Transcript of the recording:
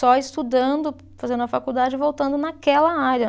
Só estudando, fazendo a faculdade e voltando naquela área.